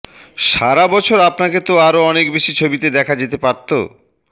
সারা বছর আপনাকে তো আরও অনেক বেশি ছবিতে দেখা যেতে পারত